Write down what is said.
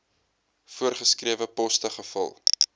voorgeskrewe poste gevul